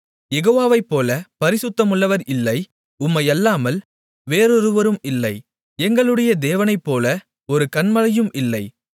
யெகோவாவைப்போலப் பரிசுத்தமுள்ளவர் இல்லை உம்மையல்லாமல் வேறொருவரும் இல்லை எங்களுடைய தேவனைப்போல ஒரு கன்மலையும் இல்லை